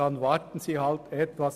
Dann warten sie halt etwas.